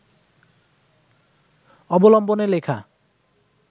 অবলম্বনে লেখা